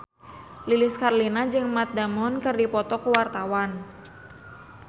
Lilis Karlina jeung Matt Damon keur dipoto ku wartawan